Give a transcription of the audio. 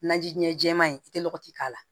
Naji ɲɛ jɛman in i tɛ lɔgɔti k'a la